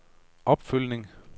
opfølgning